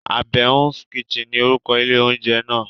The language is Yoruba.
Àbẹ̀ún's kitchen ni orúkọ ilé oúnjẹ náà.